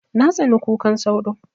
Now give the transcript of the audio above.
Na tsani kukan sauro